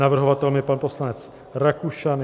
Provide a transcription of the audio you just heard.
Navrhovatelem je pan poslanec Rakušan.